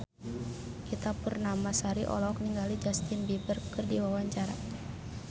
Ita Purnamasari olohok ningali Justin Beiber keur diwawancara